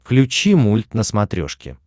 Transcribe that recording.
включи мульт на смотрешке